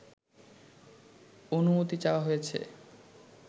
অনুমতি চাওয়া হয়েছে